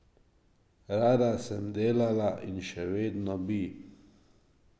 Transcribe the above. Rada sem delala in še vedno bi.